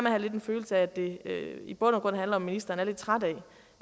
at have en følelse af at det i bund og grund handler om at ministeren er lidt træt